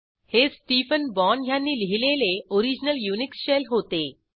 हे Stephen Bourne ह्यांनी लिहिलेले ओरिजनल युनिक्स शेल होते